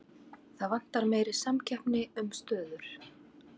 Það vantar meiri samkeppni um stöður